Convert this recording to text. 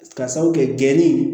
Ka sabu kɛ gɛnni ye